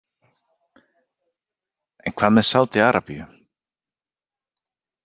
En hvað með Saudi- Arabíu?